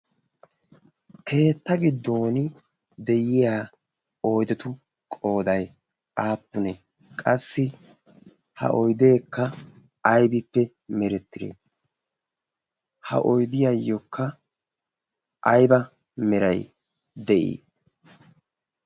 keetta giddon de'iya oydetu qooday aappunee qassi ha oydeekka aybippe merettire ha oydiyaayyookka ayba meray de'ii